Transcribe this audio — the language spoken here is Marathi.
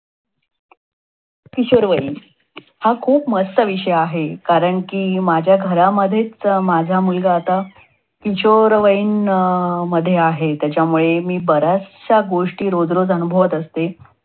किशोरवयीन हा खूप मस्त विषय आहे. कारण कि माझ्या घरामध्येच माझा मुलगा आता किशोरवयीन अं मध्ये आहे. त्यामुळे मी बऱ्याचशा गोष्टी रोज रोज अनुभवत असते.